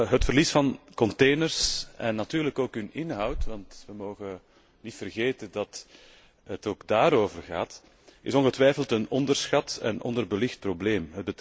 Het verliezen van containers, en natuurlijk ook hun inhoud want we mogen niet vergeten dat het ook daarover gaat is ongetwijfeld een onderschat en onderbelicht probleem.